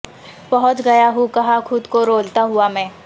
پہنچ گیا ہوں کہاں خود کو رولتا ہوا میں